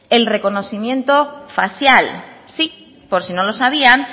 el reconocimiento facial sí por si no lo sabían